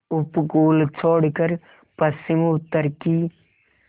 उपकूल छोड़कर पश्चिमउत्तर की